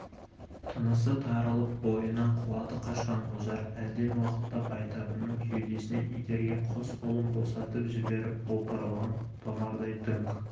тынысы тарылып бойынан қуаты қашқан ожар әлден уақытта байтабынның кеудесінен итерген қос қолын босатып жіберіп опырылған томардай дүңк